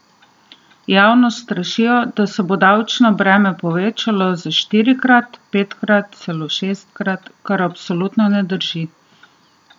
Javnost strašijo, da se bo davčno breme povečalo za štirikrat, petkrat, celo šestkrat, kar absolutno ne drži!